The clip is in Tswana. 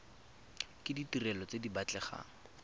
ke ditirelo tse di batlegang